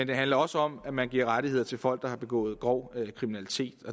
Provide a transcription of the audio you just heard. det handler også om at man giver rettigheder til folk der har begået grov kriminalitet